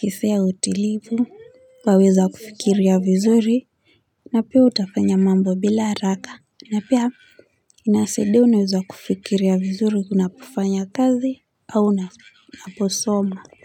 hisia ya utulivu waweza kufikiria vizuri na pia utafanya mambo bila haraka na pia inasaidia unaweza kufikiria vizuri unapofanya kazi au unaposoma.